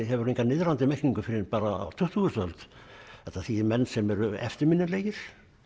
hefur enga niðrandi merkingu fyrr en bara á tuttugustu öld þetta þýðir menn sem eru eftirminnilegir